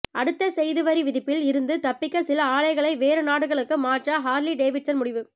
அடுத்த செய்திவரி விதிப்பில் இருந்து தப்பிக்க சில ஆலைகளை வேறு நாடுகளுக்கு மாற்ற ஹார்லி டேவிட்சன் முடிவு